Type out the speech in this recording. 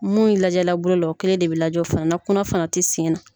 Minnu lajɛ la bolo la o kelen de bɛ lajɛ o fana na kunna fana tɛ sen na.